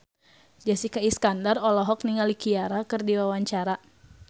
Jessica Iskandar olohok ningali Ciara keur diwawancara